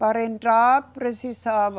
Para entrar, precisava...